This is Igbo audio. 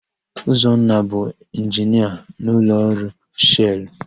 Ụzọnna bụ Inginia n'ụlọọrụ Shelụ.